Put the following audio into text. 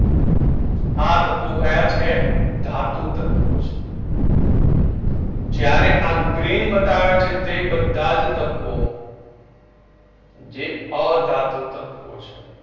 આ તત્વો કયા છે ધાતુ તત્વો છે જ્યારે આ green બતાવે છે તે બધા જ તત્વો જે અધાતુ તત્વો છે